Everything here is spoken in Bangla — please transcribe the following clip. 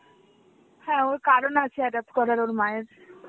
হ্যাঁ ওর কারণ আছে adopt করার ওর মায়ের.